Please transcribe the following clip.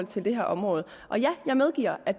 til det her område og ja jeg medgiver at